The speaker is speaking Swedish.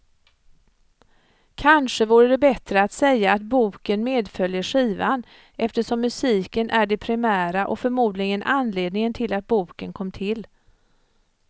Kanske vore det bättre att säga att boken medföljer skivan, eftersom musiken är det primära och förmodligen anledningen till att boken kom till.